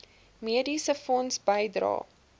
mediese fonds bydrae